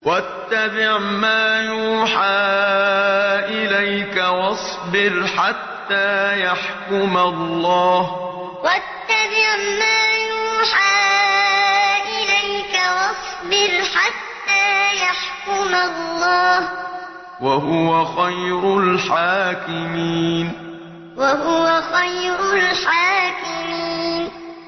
وَاتَّبِعْ مَا يُوحَىٰ إِلَيْكَ وَاصْبِرْ حَتَّىٰ يَحْكُمَ اللَّهُ ۚ وَهُوَ خَيْرُ الْحَاكِمِينَ وَاتَّبِعْ مَا يُوحَىٰ إِلَيْكَ وَاصْبِرْ حَتَّىٰ يَحْكُمَ اللَّهُ ۚ وَهُوَ خَيْرُ الْحَاكِمِينَ